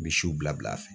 Misiw bila fɛn